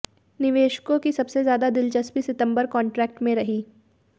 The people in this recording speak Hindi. निवेशकों की सबसे ज्यादा दिलचस्पी सितंबर कॉन्ट्रैक्ट में रही